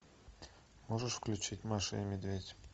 можешь включить маша и медведь